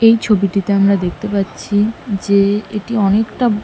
এই ছবিটিতে আমরা দেখতে পাচ্ছি যে এটি অনেকটা--